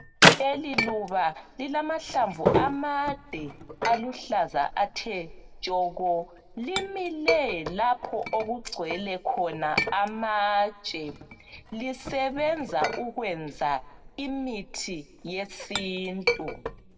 Leliluba lilamahlamvu amade aluhlaza athe tshoko, limile lapho okugcwele khona amatshe lisebenza ukwenza imithi yesintu.